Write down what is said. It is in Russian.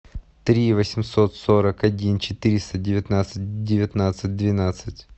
три восемьсот сорок один четыреста девятнадцать девятнадцать двенадцать